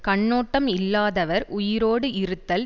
கண்ணோட்டம் இல்லாதவர் உயிரோடு இருத்தல்